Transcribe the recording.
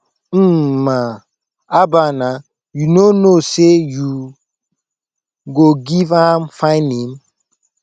mma haba naa you no know say you go give am fine name